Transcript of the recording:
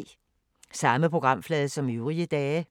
Samme programflade som øvrige dage